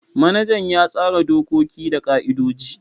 Manajan ya tsara dokoki da ka'idoji.